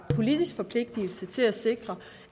politisk forpligtelse til at sikre